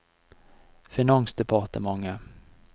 finansdepartementet